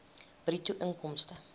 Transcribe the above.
bruto inkomste